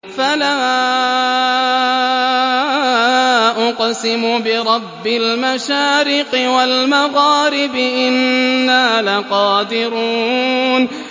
فَلَا أُقْسِمُ بِرَبِّ الْمَشَارِقِ وَالْمَغَارِبِ إِنَّا لَقَادِرُونَ